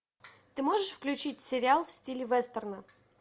ты можешь включить сериал в стиле вестерна